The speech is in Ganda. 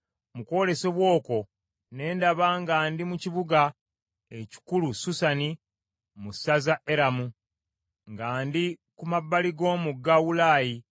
Mu kwolesebwa okwo ne ndaba nga ndi mu kibuga ekikulu Susani mu ssaza Eramu, nga ndi ku mabbali g’omugga Ulaayi.